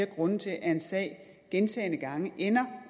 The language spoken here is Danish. grunde til at en sag gentagne gange ender